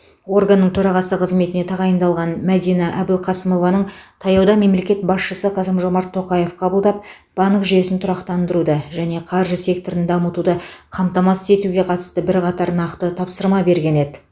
органның төрағасы қызметіне тағайындалған мәдина әбілқасымованың таяуда мемлекет басшысы қасым жомарт тоқаев қабылдап банк жүйесін тұрақтандыруды және қаржы секторын дамытуды қамтамасыз етуге қатысты бірқатар нақты тапсырма берген еді